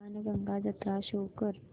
बाणगंगा जत्रा शो कर